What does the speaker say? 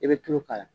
I bɛ tulu k'a la